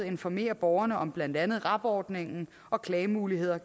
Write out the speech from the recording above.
informere borgerne om blandt andet rab ordningen og klagemuligheder